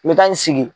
N bɛ taa n sigi